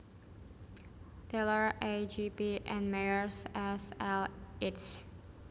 Taylor A J P and Mayer S L eds